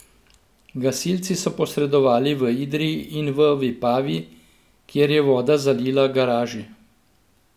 Gasilci so posredovali v Idriji in v Vipavi, kjer je voda zalila garaži.